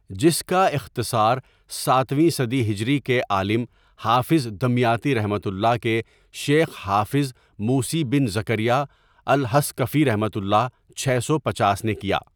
جس کا اختصار ساتویں صدی ہجری کے عالم حافظ دمیاطی ؒ کے شیخ حافظ موسی بن زکریا الحصكفيؒ چھ سو پنچاس نے کیا.